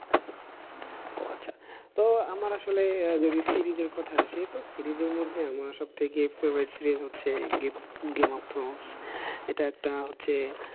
ও আচ্ছা, তো আমার আসলে যদি series এর কথায় আসি তো series এর মধ্যে আমার সবথেকে favorite series হচ্ছে গেম অফ মাউস এটা একটা হচ্ছে